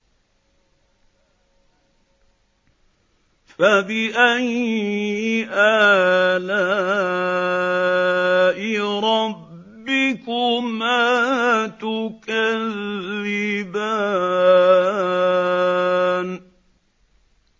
فَبِأَيِّ آلَاءِ رَبِّكُمَا تُكَذِّبَانِ